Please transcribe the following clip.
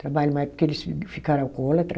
Trabalho mais porque eles fi ficaram alcoólatra.